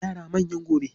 Yara manyan gobe